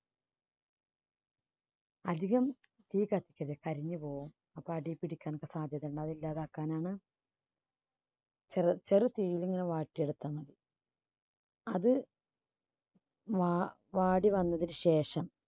അധികം തീ കത്തിക്കരുത്. കരിഞ്ഞുപോകും അപ്പോൾ അടിയിൽ പിടിക്കാൻ സാധ്യതയുണ്ട് അതില്ലാതാക്കാനാണ് ചെറു~ചെറു തീയിൽനിന്ന് വയറ്റി എടുക്കുന്നത്. അത് വാ~വാടി വന്നതിന് ശേഷം